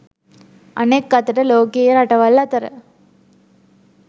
අනෙක් අතට ලෝකයේ රටවල් අතර